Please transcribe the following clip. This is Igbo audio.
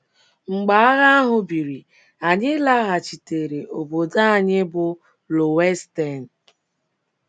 Mgbe agha ahụ biri, anyị laghachitere obodo anyị bụ́ Löwenstein.